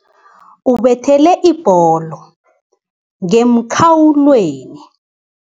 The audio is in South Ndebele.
Ubethele ibholo ngemkhawulweni.